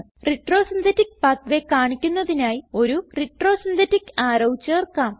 retro synthetic pathway കാണിക്കുന്നതിനായി ഒരു retro synthetic arrow ചേർക്കാം